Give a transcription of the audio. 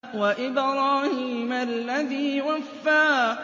وَإِبْرَاهِيمَ الَّذِي وَفَّىٰ